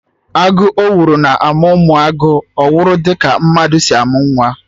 Agụ owuru na-amụ ụmụ agụ owuru dị ka mmadụ si amụ nwa